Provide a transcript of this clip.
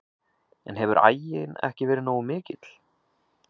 En hefur aginn ekki verið nógu mikill?